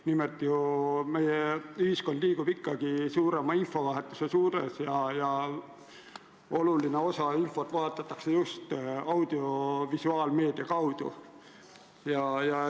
Nimelt, meie ühiskond liigub suurema infovahetuse suunas ja oluline osa infot vahetatakse just audiovisuaalmeedia kaudu.